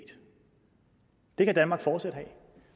det kan danmark fortsat have